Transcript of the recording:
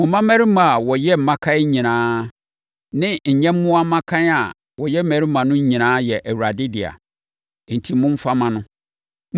mo mmammarima a wɔyɛ mmakan nyinaa ne nyɛmmoa mmakan a wɔyɛ mmarima no nyinaa yɛ Awurade dea. Enti momfa mma no.